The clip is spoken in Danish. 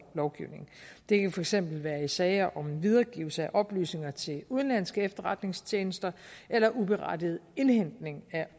lovgivningen det kan for eksempel være i sager om videregivelse af oplysninger til udenlandske efterretningstjenester eller uberettiget indhentning af